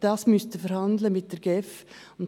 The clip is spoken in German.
Das müssen Sie mit der GEF verhandeln.